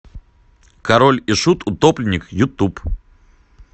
король и шут утопленник ютуб